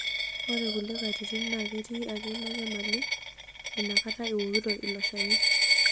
Ore kulie katitin naa ketii ake ina nyamali inakata iwokito ilo shani.